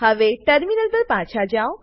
હવે ટર્મિનલ પર પાછા જાઓ